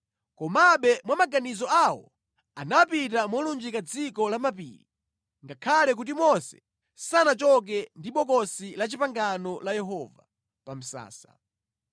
Komabe mwa maganizo awo anapita molunjika dziko la mapiri ngakhale kuti Mose sanachoke ndi Bokosi la Chipangano la Yehova pa msasa.